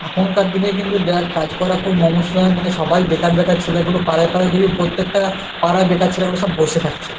এখনকার দিনে কিন্তু দেখ কাজ করা খুব মমস্যা হয় মানে সবাই বেকার বেকার ছেলেগুলো পাড়ায় পাড়ায় দেখবি প্রত্যেকটা পাড়ায় বেকার ছিল ছেলেগুলো সব বসে থাকছে.